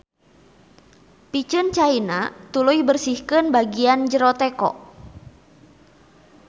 Piceun caina tuluy bersihkeun bagian jero teko.